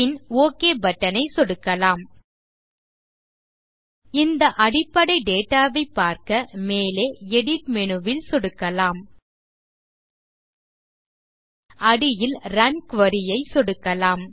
பின் OK button ஐ சொடுக்கலாம் இந்த அடிப்படை டேட்டா ஐ பார்க்க மேலே எடிட் மேனு ல் சொடுக்கலாம் அடியில் ரன் குரி ஐ சொடுக்கலாம்